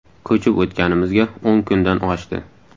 Ko‘chib o‘tganimizga o‘n kundan oshdi.